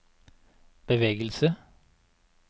bevegelse